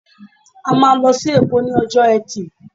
A máa lọ sí èkó ní ọjọ́ etí